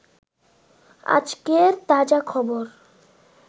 আজকের তাজা খবর